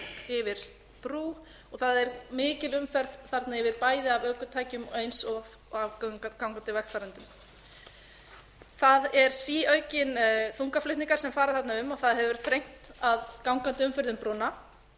yfir brú og það er mikil umferð þarna yfir bæði af ökutækjum og eins af gangandi vegfarendum það er síauknir þungaflutningar sem farna þarna um það hefur þrengt að gangandi umferð um brúna og